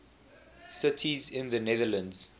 cities in the netherlands